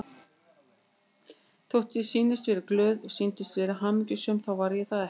Þótt ég sýndist vera glöð, sýndist vera hamingjusöm þá var ég það ekki.